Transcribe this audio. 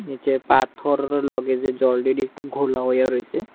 নীচে পাথরের লগে যে জল একটু ঘোলা হয়ে রইছে।